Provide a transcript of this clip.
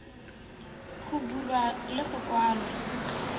go bulwa le go kwalwa